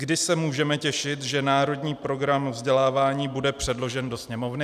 Kdy se můžeme těšit, že Národní program vzdělávání bude předložen do Sněmovny?